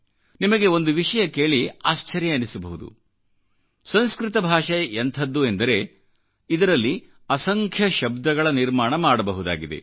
ನಿಮಗೆ ಒಂದು ವಿಷಯ ಕೇಳಿಆಶ್ಚರ್ಯವೆನಿಸಬಹುದು ಸಂಸ್ಕೃತ ಭಾಷೆ ಎಂಥದ್ದು ಎಂದರೆ ಇದರಲ್ಲಿ ಅಸಂಖ್ಯ ಶಬ್ದಗಳ ನಿರ್ಮಾಣಮಾಡಬಹುದಾಗಿದೆ